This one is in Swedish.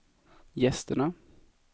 gästerna